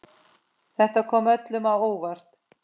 Þetta kom öllum á óvart.